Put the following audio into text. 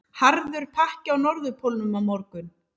Harður pakki á Norðurpólnum á morgun